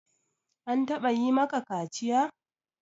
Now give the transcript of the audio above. An taɓa yi maka kaciya?